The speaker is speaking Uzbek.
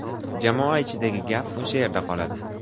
Jamoa ichidagi gap o‘sha yerda qoladi.